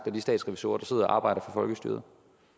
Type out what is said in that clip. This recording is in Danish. de statsrevisorer der sidder og arbejder for folkestyret